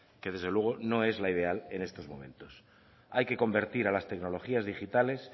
que desde luego no es la ideal en estos momentos hay que convertir a las tecnologías digitales